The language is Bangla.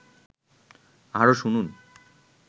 আরও শুনুন